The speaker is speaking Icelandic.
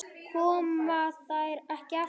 Koma þær ekki aftur?